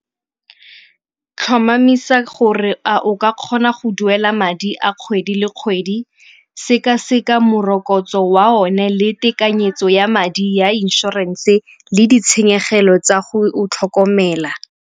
Tlhomamisa gore a o ka kgona go duela madi a kgwedi le kgwedi, sekaseka morokotso wa one le tekanyetso ya madi ya inšorense le ditshenyegelo tsa go o tlhokomela.